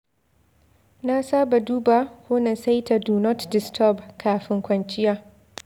Na saba duba ko na saita "Do Not Disturb" kafin kwanciya.